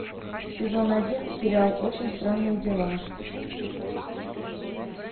сезон один сериал очень странные дела